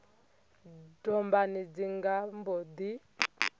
dombani dzi nga mbo ḓi